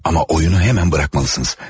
Amma oyunu hemen buraxmalısınız.